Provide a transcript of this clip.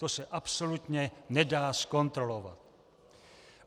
To se absolutně nedá zkontrolovat.